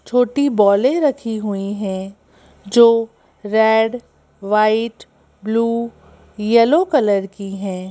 छोटी बॉलें रखी हुई हैं जो red white blue yellow colour की हैं।